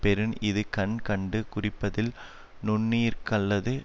பெறின் இது கண் கண்டு குறிப்பறிதல் நுண்ணிர்க்கல்லது